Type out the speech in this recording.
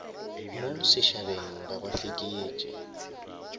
mo sešhabeng ga ba fekeetše